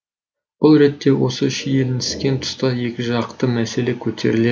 бұл ретте осы шиелініскен тұста екі жақты мәселе көтеріледі